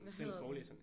Hvad hedder den?